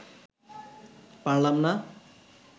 পারলাম না